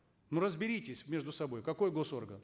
ну разберитесь между собой какой госорган